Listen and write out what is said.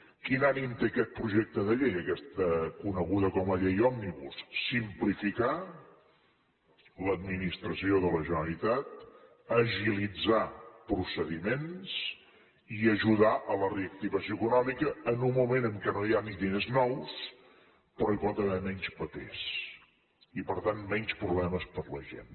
quin ànim té aquest projecte de llei aquesta coneguda com a llei òmnibus simplificar l’administració de la generalitat agilitar procediments i ajudar la reactivació econòmica en un moment en el qual no hi ha ni diners nous però hi pot haver menys papers i per tant menys problemes per a la gent